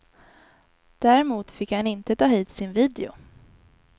Däremot fick han inte ta hit sin video.